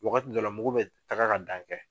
Wagati dɔw la mugu be taga ka dan kɛ